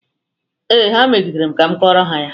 Ee, ha megidere m ka m kọrọ ha ya.